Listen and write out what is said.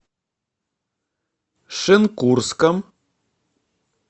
шенкурском